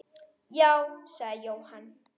Já, sagði Jóhann.